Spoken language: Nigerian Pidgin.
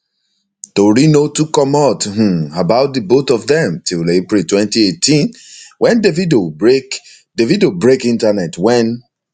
tori no too comot um about di both of dem till april 2018 wen davido break davido break internet wen